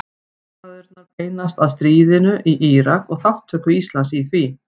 Samræðurnar beinast að stríðinu í Írak og þátttöku Íslands í því.